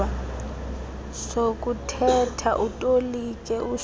sokuthetha utolike ususa